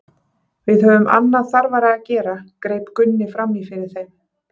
Við höfum annað þarfara að gera, greip Gunni fram í fyrir þeim.